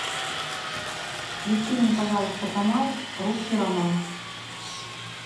включи мне пожалуйста канал русский роман